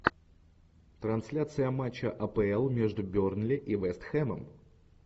трансляция матча апл между бернли и вест хэмом